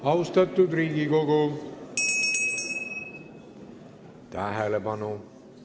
Austatud Riigikogu, tähelepanu!